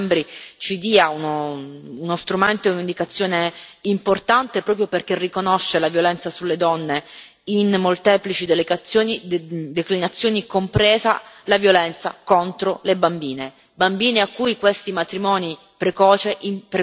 in tutta l'Unione europea, da parte di tutti gli Stati membri, ci dia uno strumento e un'indicazione importante proprio perché riconosce la violenza sulle donne in molteplici declinazioni, compresa la violenza contro le bambine.